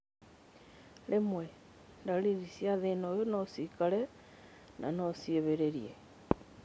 Rwĩmwe, ndariri cia thĩna ũyũ nocikare na no ciĩhĩrĩrie